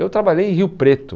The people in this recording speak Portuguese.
Eu trabalhei em Rio Preto.